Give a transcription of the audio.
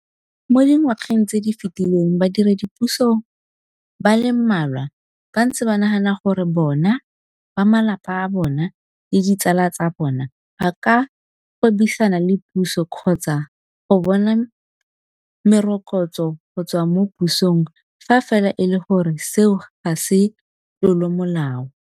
Mo dingwageng tse di fetileng badiredipuso ba le mmalwa ba ntse ba nagana gore bona, ba malapa a bona le ditsala tsa bona ba ka gwebisana le puso kgotsa go bona merokotso go tswa mo pusong fa fela e le gore seo ga se tlolomolao.